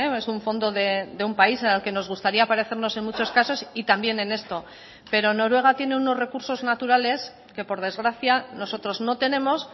es un fondo de un país al que nos gustaría parecernos en muchos casos y también en esto pero noruega tiene unos recursos naturales que por desgracia nosotros no tenemos